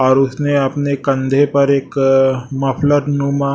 और उसने अपने कंधे पर एक मफलर नुमा--